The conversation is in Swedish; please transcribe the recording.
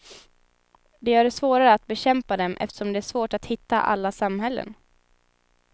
Det gör det svårare att bekämpa dem eftersom det är svårt att hitta alla samhällen.